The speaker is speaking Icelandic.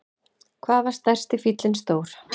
Hvað var stærsti fíllinn stór?